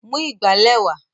Mú ìgbálẹ̀ wá!